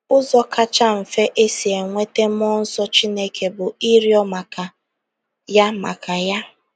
Ụzọ kacha mfe e si enweta mmụọ nsọ Chineke bụ ịrịọ maka ya maka ya.